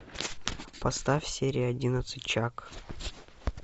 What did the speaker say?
поставь серия одиннадцать чак